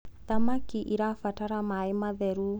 thamakĩ irabatara maĩ matheru